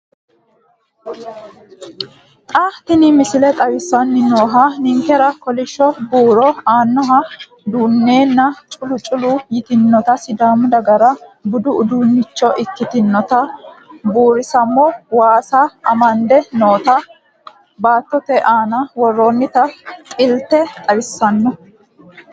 Xa tini missile xawissanni noohu ninkera kolishsho buuro aanaho dunneenna culu culu yitinota sidaamu dagara budu uduunnichxho ikkitinota buurisamo waasa amadde noota baattote aana worroonnita xilte xawissanno.